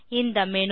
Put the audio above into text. இந்த மேனு